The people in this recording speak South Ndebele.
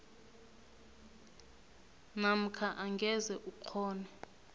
namkha angeze ukghone